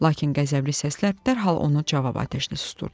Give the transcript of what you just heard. Lakin qəzəbli səslər dərhal onu cavab atəşli susdurdu.